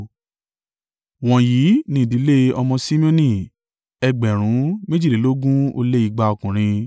Wọ̀nyí ni ìdílé àwọn ọmọ Simeoni, ẹgbẹ̀rún méjìlélógún ó lé igba (22,200) ọkùnrin.